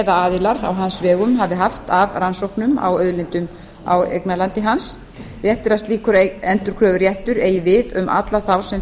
aðilar á hans vegum hafi haft af rannsóknum á auðlindum á eignarlandi hans rétt er að slíkur endurkröfuréttur eigi við um alla þá sem